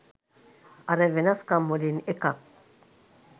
අර වෙනස් කම් වලින් එකක්.